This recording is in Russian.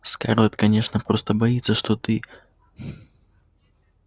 скарлетт конечно просто боится что ты